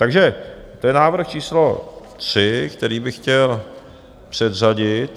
Takže to je návrh číslo 3, který bych chtěl předřadit.